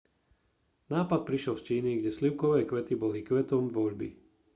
nápad prišiel z číny kde slivkové kvety boli kvetom voľby